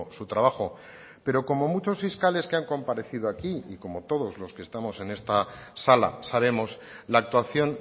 su trabajo pero como muchos fiscales que han comparecido aquí y como todos los que estamos en esta sala sabemos la actuación